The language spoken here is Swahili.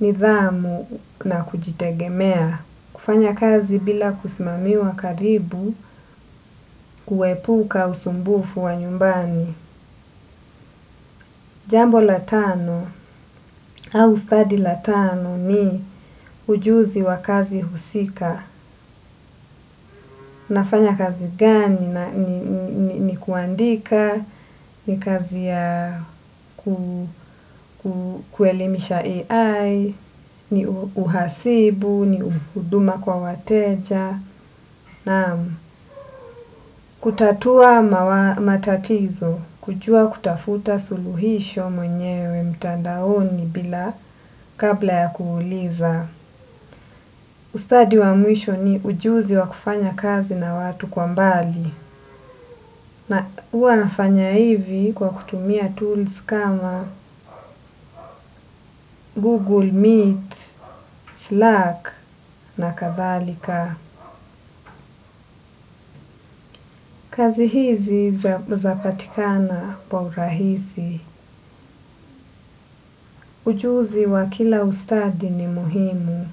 nidhamu na kujitegemea. Kufanya kazi bila kusimamiwa karibu kuepuka usumbufu wa nyumbani. Jambo la tano au stadi la tano ni ujuzi wa kazi husika. Unafanya kazi gani ni kuandika, ni kazi ya kuelimisha AI, ni uhasibu, ni uhuduma kwa wateja, naam kutatua matatizo kujua kutafuta suluhisho mwenyewe mtandaoni bila kabla ya kuuliza. Ustadi wa mwisho ni ujuzi wa kufanya kazi na watu kwa mbali na huwa nafanya hivi kwa kutumia tools kama Google Meet, Slack na kadhalika. Kazi hizi zapatikana kwa urahisi. Ujuzi wa kila ustadi ni muhimu.